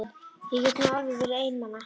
Ég get nú alveg verið ein mamma.